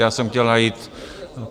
Já jsem chtěl najít...